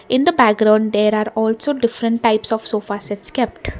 in the background there are also different types of sofa sets kept.